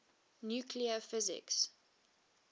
nuclear physics